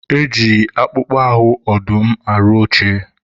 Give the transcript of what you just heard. e ji akpụkpọ ahụ ọdụm arụ oche.